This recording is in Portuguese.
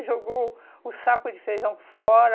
E jogou o saco de feijão fora.